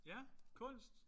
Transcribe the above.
Ja. Kunst?